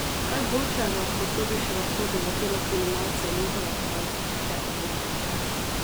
Kaj boljšega kot to bi še lahko doletelo kriminalce in njihove razvpite odvetnike?